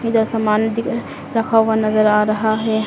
इधर सामान दिख रखा हुआ नजर आ रहा है।